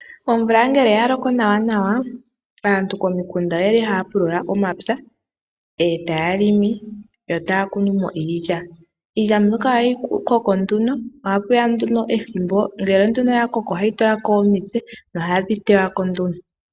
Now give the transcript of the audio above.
Omvula ngele ya loko nawanawa aantu komikunda oye li haya pulula omapya e ta ya limi yo ta ya kunu mo iilya, iilya mbyoka ohayi koko nduno ohaku ya nduno ethimbo ngele ya koko ohayi tula ko omitse nohadhi teywa ko nduno.